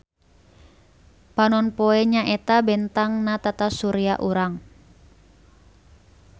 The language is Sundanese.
Panonpoe nyaeta bentang na tatasurya urang.